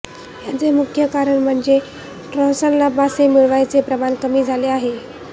याचे मुख्य कारण म्हणजे ट्रॉलर्सना मासे मिळण्याचे प्रमाण कमी झाले आहे